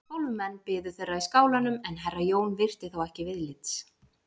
Tólf menn biðu þeirra í skálanum en herra Jón virti þá ekki viðlits.